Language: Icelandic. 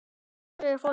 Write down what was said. Svarið er: Fólkið.